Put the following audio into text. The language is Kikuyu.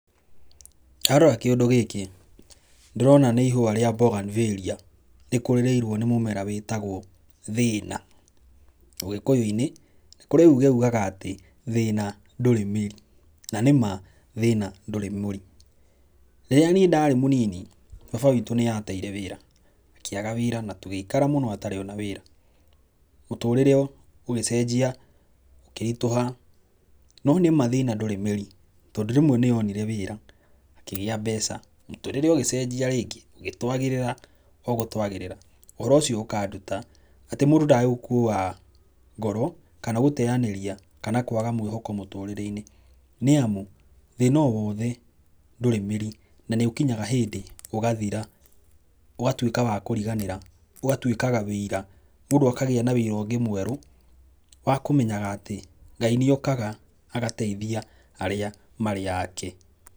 Ndarora kĩũndũ gĩkĩ ndĩrona nĩ ihũa rĩa bougainvillea rĩkũrĩirwo nĩ mũmera wĩtagwo thĩna. Ũgĩkũyũ-inĩ, nĩ kũrĩ uge ugaga atĩ thĩna ndũrĩ mĩri. Na nĩ ma thĩna ndũrĩ mũri. Rĩrĩa niĩ ndarĩ mũnini baba witũ nĩ ateire wĩra, akĩaga wĩra na tũgĩikara mũno atarĩ ona wĩra. Mũtũrĩre ũgĩcenjia na ũkĩritũha. No nĩma thĩna ndũrĩ mĩri, tondũ rĩmwe nĩ onire wĩra akĩgĩa mbeca, mũtũrĩre ũgĩcenjia rĩngĩ ũgĩtwagĩrĩra o gũtwagĩrĩra. Ũhoro ũcio ũkĩnduta atĩ mũndũ ndagĩrĩirwo gũkua ngoro, kana gũteanĩria kana kwaga mwĩhoko mũtũrĩre-inĩ. Nĩ amu thĩna o wothe ndũrĩ mĩri na nĩ ũkinyaga hĩndĩ ũgathira. Ũgatuĩka wa kũriganĩra, ũgatuĩkaga wĩira, mũndũ akagĩa na wĩira ũngĩ mwerũ wa kũmenya atĩ, Ngai nĩ okaga agateithia arĩa marĩ ake.